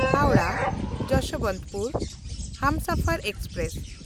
Howrah Yesvantpur Humsafar express